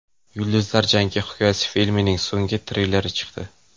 Yulduzlar jangi hikoyasi” filmining so‘nggi treyleri chiqdi.